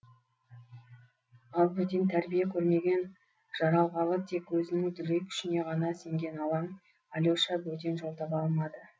ал бөтен тәрбие көрмеген жаралғалы тек өзінің дүлей күшіне ғана сенген алаң алеша бөтен жол таба алмады